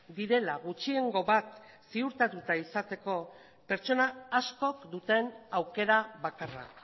direla gutxiengo bat ziurtatua izateko pertsona askok duten aukera bakarra